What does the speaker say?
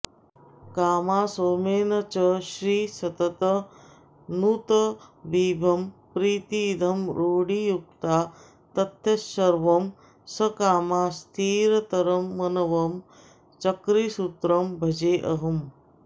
कामा सोमेन च श्री सततनुतविभं प्रीतिदं रूढियुक्ता तथ्यं शर्वं सकामा स्थिरतरमनवं चक्रिसुत्रं भजेऽहम्